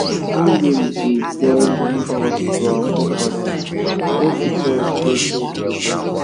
singing da join us to our forefathers wey teach us wetin we da do now